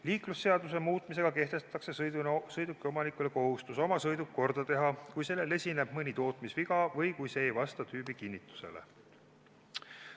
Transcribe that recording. Liiklusseaduse muutmisega kehtestatakse sõidukiomanikule kohustus oma sõiduk korda teha, kui sellel esineb mõni tootmisviga või kui see ei vasta tüübikinnitusele.